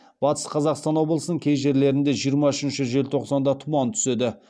батыс қазақстан облысының кей жерлерінде жиырма үшінші желтоқсанда тұман түседі